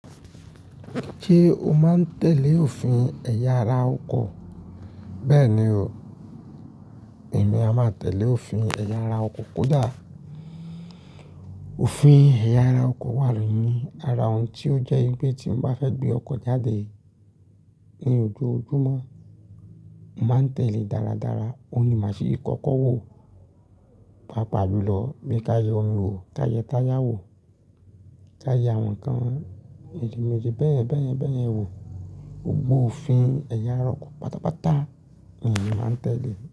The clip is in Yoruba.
Ṣé o máa ń tẹ̀lé òfin ẹ̀yà ara ọkọ̀? Bẹ́ẹ̀ni o, èmi a máa tẹ̀lé òfin ẹ̀yà ara ọkọ̀ kódà. Òfin ẹ̀yà ara ọkọ̀ wà nù ní, ara òun tí ó jẹ́ pé tí mo bá fẹ́ gbé ọkọ̀ jáde ní ojoojúmọ́, màá tẹ̀lé dáradára. Òun ni màá ṣe kọ́kọ́ wò, pàápàá jùlọ bí kaye omi wò, kaye táyà wò, táyà àwọn ǹkan méje méje bẹ́ẹ̀ bẹ́ẹ̀ bẹ́ẹ̀ wò. Gbogbo òfin ẹ̀yà ara ọkọ̀ pátápátá ni èmi máa ń tẹ̀lé.